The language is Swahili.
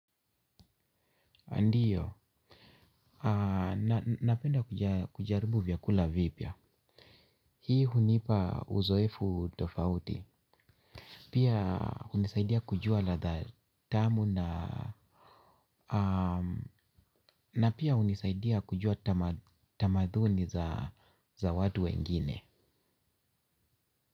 Ndiyo, napenda kujaribu vyakula vipya. Hii hunipa uzoefu tofauti. Pia hunisaidia kujua ladha tamu na na pia hunisaidia kujua tamaduni za watu wengine.